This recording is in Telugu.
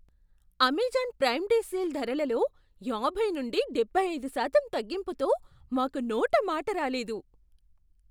అమెజాన్ ప్రైమ్ డే సేల్ ధరలలో యాభై నుండి డెబ్భై ఐదు శాతం తగ్గింపుతో మాకు నోట మాట రాలేదు.